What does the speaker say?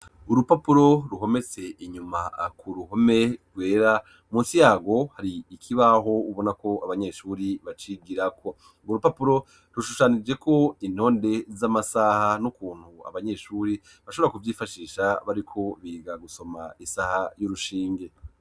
Urupapuro ruhometse inyuma ku ruhome rwera, munsi yarwo hari ikibaho ubona ko abanyeshuri bacigirako. Urwo rupapuro rushushanijeko intonde z'amasaha n'ukuntu abanyeshuri bashobora kuvyifashisha bariko biga gusoma isaha y'urushinge.